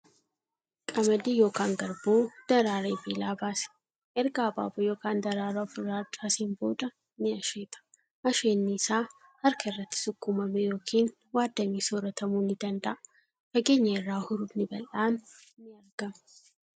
Qamadii yookan garbuu daraaree biilaa baase. Erga abaaboo yookan daraaraa ofirraa harcaaseen booda ni asheeta. Asheenni isaa harka irratti sukkuummamee yookiin waaddamee sooratamuu ni danda'a. Fageenya irraa hurufni bal'aan ni argama.